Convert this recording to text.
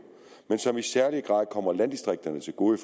men som i særlig grad kommer landdistrikterne til gode